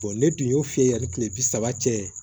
ne tun y'o fi ye yani kile bi saba cɛ